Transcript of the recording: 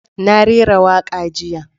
Na rera waka jiya.